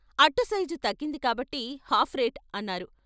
" అట్టు సైజు తగ్గింది కాబట్టి హాఫ్ రేట్ " అన్నారు.